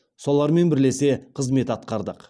солармен бірлесе қызмет атқардық